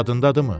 Yadındadırmı?